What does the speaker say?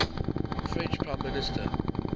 french prime minister